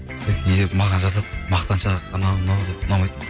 не деп маған жазады мақтаншақ анау мынау деп ұнамайды